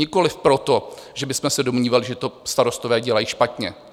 Nikoliv proto, že bychom se domnívali, že to starostové dělají špatně.